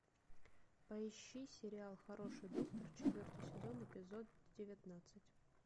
поищи сериал хороший доктор четвертый сезон эпизод девятнадцать